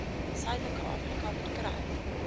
suidelike afrika verkry